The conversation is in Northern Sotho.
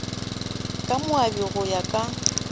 ka moabi go ya ka